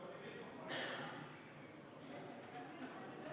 Kohal on 86 Riigikogu liiget, puudub 15.